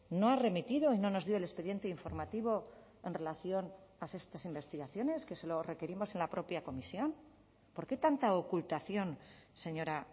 no ha remitido y no nos dio el expediente informativo en relación a estas investigaciones que se lo requerimos en la propia comisión por qué tanta ocultación señora